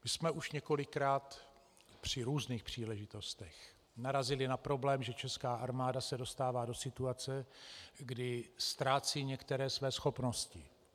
My jsme už několikrát při různých příležitostech narazili na problém, že česká armáda se dostává do situace, kdy ztrácí některé své schopnosti.